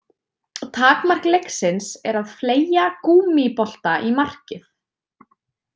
Takmark leiksins er að fleygja gúmmíbolta í markið.